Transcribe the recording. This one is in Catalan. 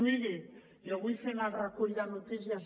miri jo vull fer en el recull de notícies